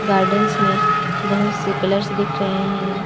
Gardens में बहुत से कलर्स दिख रहे हैं ।